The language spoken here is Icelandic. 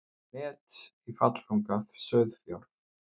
Met í fallþunga sauðfjár